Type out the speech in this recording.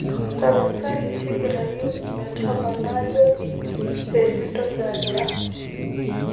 tapasali tigirayu ometaba naajoki pee mintoki agira